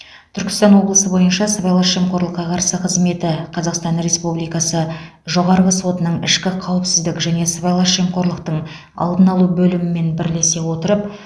түркістан облысы бойынша сыбайлас жемқорлыққа қарсы қызметі қазақстан республикасы жоғарғы сотының ішкі қауіпсіздік және сыбайлас жемқорлықтың алдын алу бөлімімен бірлесе отырып